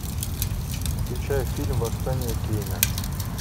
включай фильм восстание кейна